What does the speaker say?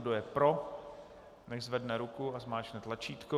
Kdo je pro, nechť zvedne ruku a zmáčkne tlačítko.